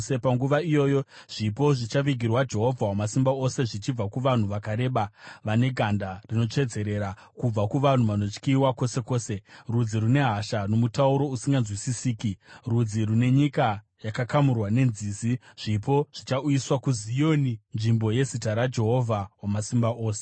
Panguva iyoyo, zvipo zvichavigirwa Jehovha Wamasimba Ose, zvichibva kuvanhu vakareba vane ganda rinotsvedzerera, kubva kuvanhu vanotyiwa kwose kwose, rudzi rune hasha nomutauro usinganzwisisiki, rudzi rune nyika yakakamurwa nenzizi, zvipo zvichauyiswa kuZioni, nzvimbo yeZita raJehovha Wamasimba Ose.